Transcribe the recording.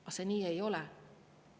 Aga nii see ei ole.